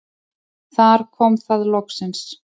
Þar kom það loksins.